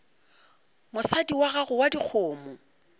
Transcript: mosadi wa gago wa dikgomo